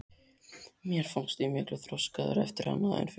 Mér fannst ég miklu þroskaðri eftir hana en fyrir.